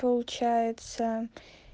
получается